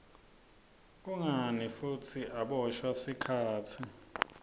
kungani futsi aboshwa sikhatsi